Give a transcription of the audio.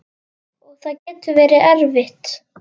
Og það getur verið erfitt.